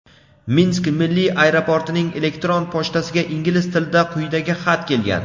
Minsk milliy aeroportining elektron pochtasiga ingliz tilida quyidagi xat kelgan.